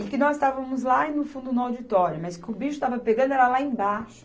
E que nós estávamos lá no fundo no auditório, mas que o bicho estava pegando era lá embaixo.